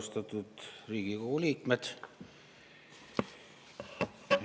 Austatud Riigikogu liikmed!